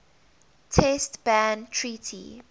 test ban treaty